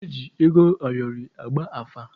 Eji ego ayọrị agba afa.